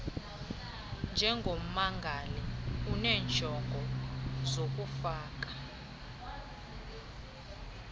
njengommangali unenjongo zokufaka